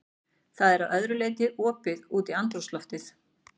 Það er að öðru leyti opið út í andrúmsloftið.